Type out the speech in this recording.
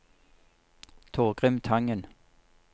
Torgrim Tangen